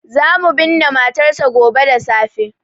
Za mu binne matarsa gobe da safe.